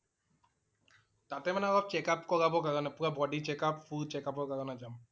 তাতে মানে অলপ checkup কৰাব কাৰণে। পুৰা body checkup, full checkup ৰ কাৰণে যাম